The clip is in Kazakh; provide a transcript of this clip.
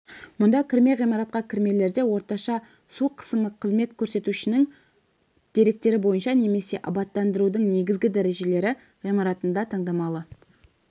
мұнда кірме ғимаратқа кірмелерде орташа су қысымы қызмет көрсетушінің деректері бойынша немесе абаттандырудың негізгі дәрежелі ғимараттарында таңдамалы